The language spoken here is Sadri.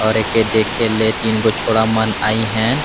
और एके देखे ले तीन गो छोडा़ मन आईन हे।